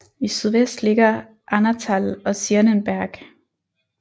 I sydvest ligger Ahnatal og Zierenberg